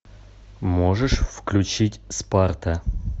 можешь включить спарта